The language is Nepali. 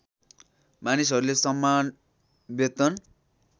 मानिसहरूले समान वेतन